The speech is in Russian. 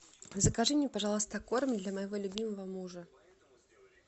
закажи мне пожалуйста корм для моего любимого мужа